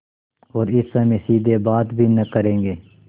और इस समय सीधे बात भी न करेंगे